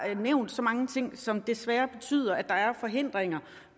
nævnt så mange ting som desværre betyder at der er forhindringer